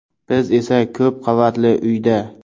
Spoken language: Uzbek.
Biz esa ko‘p qavatli uyda.